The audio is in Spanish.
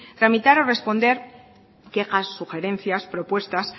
tramitar o responder quejas sugerencias propuestas